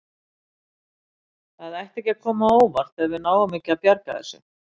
Það ætti ekki að koma á óvart ef við náum ekki að bjarga þessu.